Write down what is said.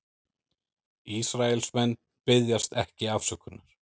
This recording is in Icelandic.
Ísraelsmenn biðjast ekki afsökunar